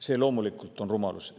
See on loomulikult rumalus.